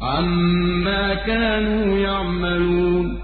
عَمَّا كَانُوا يَعْمَلُونَ